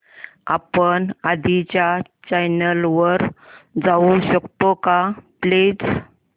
आपण आधीच्या चॅनल वर जाऊ शकतो का प्लीज